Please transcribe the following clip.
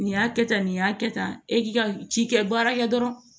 Nin y'a kɛ tan nin y'a kɛ tan e k'i ka ci kɛ baara kɛ dɔrɔn